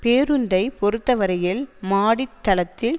பேருந்தை பொறுத்தவரையில் மாடித் தளத்தில்